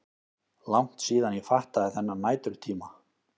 Langt síðan ég fattaði þennan næturtíma.